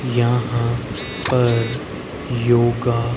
यहां पर योगा--